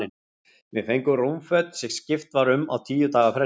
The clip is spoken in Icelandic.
Við fengum rúmföt, sem skipt var um á tíu daga fresti.